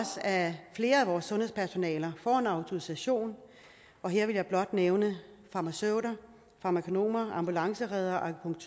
at flere af vores sundhedspersonaler får en autorisation og her vil jeg blot nævne farmaceuter farmakonomer ambulancereddere og